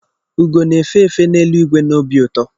Ugo na-efe efe n'elu igwe na obi ụtọ.